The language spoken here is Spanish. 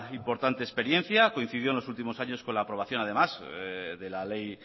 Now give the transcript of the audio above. importante experiencia coincidió en los últimos años con la aprobación además de la ley